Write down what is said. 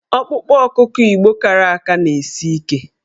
Ọkpụkpụ ọkụkọ Igbo kara aka na-esi ike.